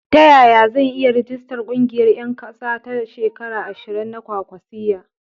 Ta yaya zan iya rijistar ƙungiyar ƴan kasa da shekara ashirin na kwa kwasiyya?